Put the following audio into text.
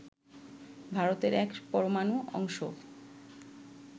ভারতের এক পরমাণু অংশও